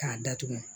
K'a datugu